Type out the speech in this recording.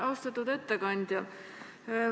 Austatud ettekandja!